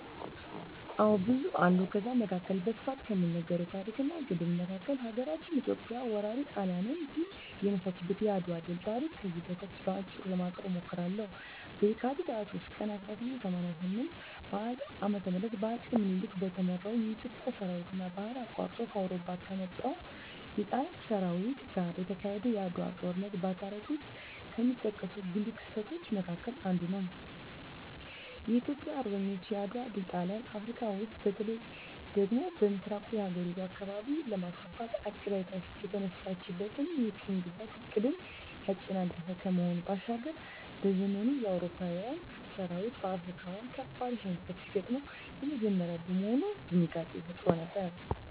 አዎ ብዙ አሉ ከዛ መካከል በስፋት ከሚነገረው ታረክ እና ገድል መካከል ሀገራችን ኢትዮጵያ ወራሪ ጣሊያንን ድል የነሳችበት የአድዋ ድል ታሪክ ከዚህ በታች በአጭሩ ለማቅረብ እሞክራለሁ፦ በካቲት 23 ቀን 1888 ዓ.ም በአጼ ምኒልክ በተመራው የኢትዮጵያ ሠራዊትና ባህር አቋርጦ ከአውሮፓ ከመጣው የጣሊያን ሠራዊት ጋር የተካሄደው የዓድዋው ጦርነት በታሪክ ውስጥ ከሚጠቀሱ ጉልህ ክስተቶች መካከል አንዱ ነው። የኢትዮጵያ አርበኞች የዓድዋ ድል ጣሊያን አፍረካ ውስጥ በተለይ ደግሞ በምሥራቁ የአህጉሪቱ አካባቢ ለማስፋፋት አቅዳ የተነሳችለትን የቅኝ ግዛት ዕቅድን ያጨናገፈ ከመሆኑ ባሻገር፤ በዘመኑ የአውሮፓዊያን ሠራዊት በአፍሪካዊያን ካበድ ሽንፈት ሲገጥመው የመጀመሪያ በመሆኑ ድንጋጤንም ፈጥሮ ነበር።